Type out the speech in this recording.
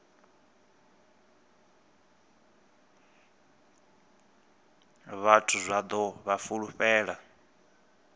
vhathu zwa ḓo vha fulufhela